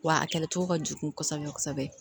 Wa a kɛlɛcogo ka jugu kosɛbɛ kosɛbɛ